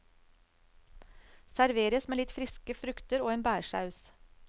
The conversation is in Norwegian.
Serveres med litt friske frukter og en bærsaus.